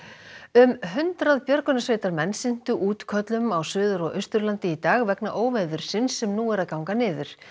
um hundrað björgunarsveitarmenn sinntu útköllum á Suður og Austurlandi í dag vegna óveðursins sem nú er að ganga niður